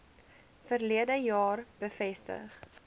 verlede jaar bevestig